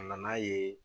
A nana ye